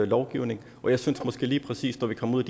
lovgivning og jeg synes måske at lige præcis når vi kommer ud